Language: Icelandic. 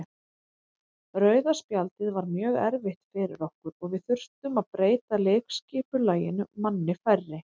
Rauða spjaldið var mjög erfitt fyrir okkur og við þurftum að breyta leikskipulaginu manni færri.